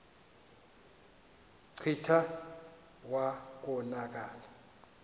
kclta wa konakala